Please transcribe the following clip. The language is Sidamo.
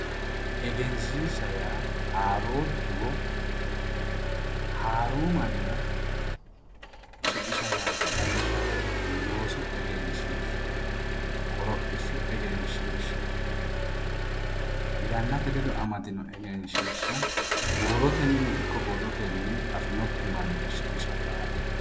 Egenshiishsha yaa haaroo duduwo haaru mannira shiqisha yaate. Lawishshaho loosu egenshiishsha, qorophishshu egenshiishsha, yannate ledo amadino egenshiishsha, huurotennino ikko borrotenni afinokki mannira shiqisha yaate.